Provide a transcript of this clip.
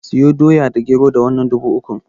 Siyo Doya da Gero da wannan dubu ukun.